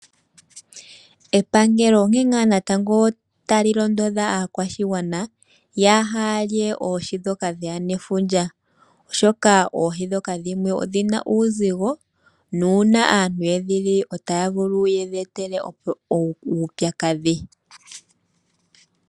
Epangelo onkee ngaa natango tali londodha aakwashigwana yaaha lye oohi ndhoka dheya nefundja, oshoka oohi ndhoka dhimwe odhina uuzigo. Uuna aantu yedhili otadhi vulu okuya etela uupyakadhi.